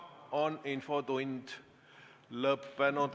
Infotund on lõppenud.